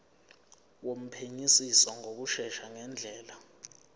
wophenyisiso ngokushesha ngendlela